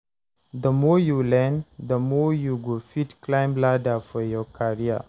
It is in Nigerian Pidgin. The more you learn, the more you go fit climb ladder for your career.